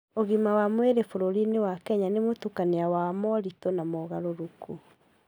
Ũgima wa mwĩrĩ bũrũri-inĩ wa Kenya nĩ mũtukanio wa moritũ na mogarũrũku.